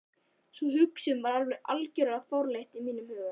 Sú hugsun var hins vegar algjörlega fráleit í mínum huga.